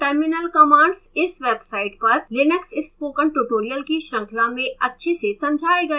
terminal commands इस website पर linux spoken tutorial की श्रृंखला में अच्छे से समझाए गए हैं